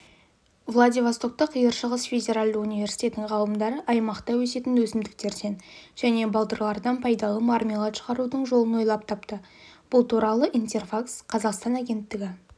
владивостокта қиыр шығыс федералды университетінің ғалымдары аймақта өсетін өсімдіктерден және балдырдан пайдалы мармелад шығарудың жолын ойлап тапты бұл туралы интерфакс-қазақстан агенттігі